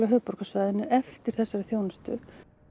höfuðborgarsvæðinu eftir þessari þjónustu